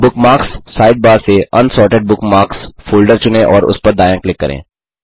bookmarks sidebar से unsorted bookmarks folder चुनें और उस पर दायाँ क्लिक करें